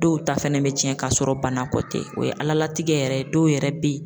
Dɔw ta fɛnɛ be tiɲɛ ka sɔrɔ bana kɔ tɛ . O ye Ala latigɛ yɛrɛ dɔw yɛrɛ be yen.